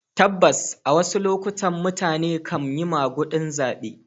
Tabbas, a wasu lokutan mutane kan yi magudin zabe.